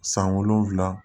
San wolonwula